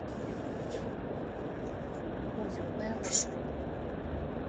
уютная маршрут